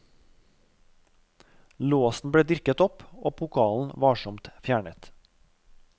Låsen ble dirket opp, og pokalen varsomt fjernet.